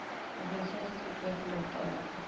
organisasies betreffende betaling